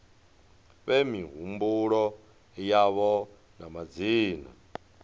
fhe mihumbulo yavho na madzina